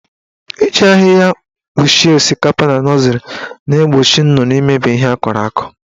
Iji ahịhịa kpuchie osikapa na nọzịrị na-egbochi nnụnụ imebi ihe akọrọ akọ.